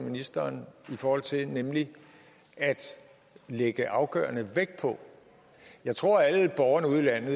ministeren i forhold til nemlig at lægge afgørende vægt på jeg tror at alle borgerne ude i landet